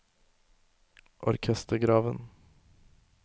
orkestergraven